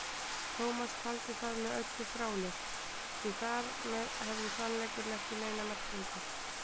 Tómas taldi það með öllu fráleitt, því þar með hefði sannleikur ekki neina merkingu.